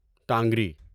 ٹانگری